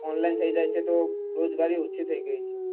online થઇ ગયું છે તો રોજગારી ઓછી થઇ ગઈ છે